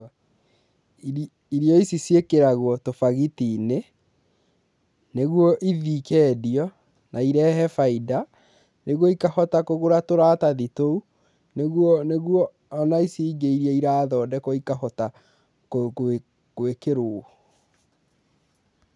Iri irio ici ciĩkagĩrwo tũbagati-inĩ nĩguo ithiĩ ikendio na irehe baida nĩguo ikahota kũgũra tũratathi tũu nĩguo nĩguo ona ici ingĩ irathondeka ikahota kwĩ kwĩ kwĩkĩrwo.